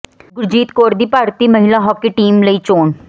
ਗੁਰਜੀਤ ਕੌਰ ਦੀ ਭਾਰਤੀ ਮਹਿਲਾ ਹਾਕੀ ਟੀਮ ਲਈ ਚੋਣ